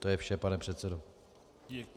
To je vše, pane předsedo.